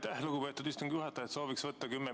Aitäh, lugupeetud istungi juhataja!